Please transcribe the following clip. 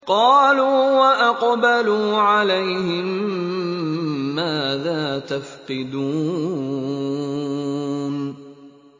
قَالُوا وَأَقْبَلُوا عَلَيْهِم مَّاذَا تَفْقِدُونَ